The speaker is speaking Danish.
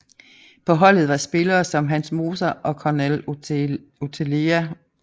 På holdet var spillere som Hans Moser og Cornel Oțelea